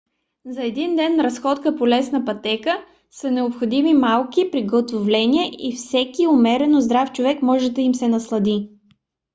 за един ден разходка по лесна пътека са необходими малки приготовления и всеки умерено здрав човек може да им се наслади